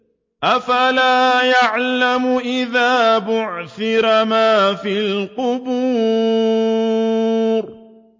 ۞ أَفَلَا يَعْلَمُ إِذَا بُعْثِرَ مَا فِي الْقُبُورِ